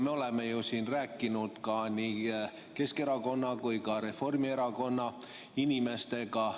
Me oleme ju siin rääkinud nii Keskerakonna kui ka Reformierakonna inimestega.